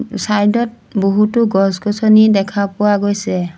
Side ত বহুতো গছ-গছনি দেখা পোৱা গৈছে।